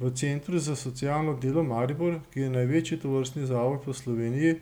V Centru za socialno delo Maribor, ki je največji tovrstni zavod v Sloveniji,